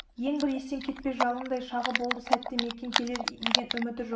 ең бір естен кетпес жалындай шағы болды сәтте мәкен келер деген үміті жоқ